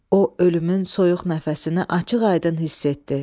O ölümün soyuq nəfəsini açıq-aydın hiss etdi.